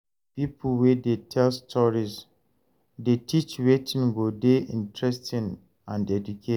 Pipo wey dey tell story dey teach wetin go dey interesting and educate.